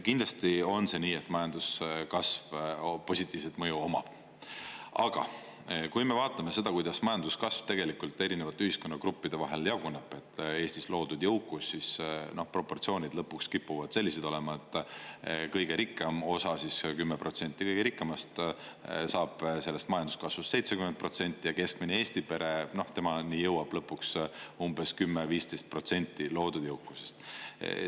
Kindlasti on see nii, et majanduskasv positiivset mõju omab, aga kui me vaatame seda, kuidas majanduskasv tegelikult erinevate ühiskonnagruppide vahel jaguneb – Eestis loodud jõukus –, siis proportsioonid lõpuks kipuvad sellised olema, et kõige rikkam osa, 10%, saab sellest majanduskasvust 70% ja keskmine Eesti pere, temani jõuab lõpuks umbes 10–15% loodud jõukusest.